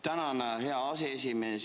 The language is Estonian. Tänan, hea aseesimees!